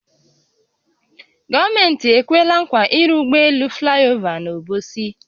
Gọọmenti ekweela nkwa ịrụ ụgbọ elu flaịova n’Obosi